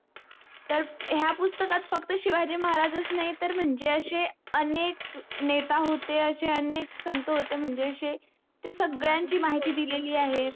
तर ह्या पुस्तकात फक्त शिवाजी महाराजच नाही तर म्हणजे अशे अनेक नेता होते अशे अनेक संत होते म्हणजे आशे त्या संगड्यांची माहिती दिलेली आहे